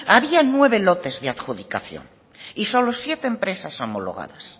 había nueve lotes de adjudicación y solo siete empresas homologadas